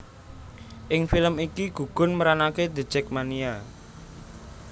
Ing film iki gugun meranaké The Jakmania